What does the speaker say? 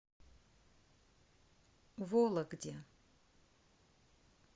вологде